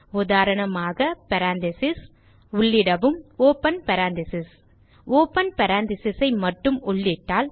உதாரணமாக பேரெந்தீசஸ் உள்ளிடவும் open parenthesis open parenthesis ஐ மட்டும் உள்ளிட்டால்